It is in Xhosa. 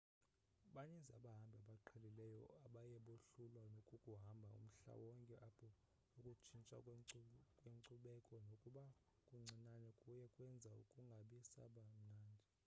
baninzi abahambi abaqhelileyo abaye bohlulwa kukuhamba umhlaba wonke apho ukutshintsha kwenkcubeko nokuba kuncinane kuye kwenza kungabi saba mnandi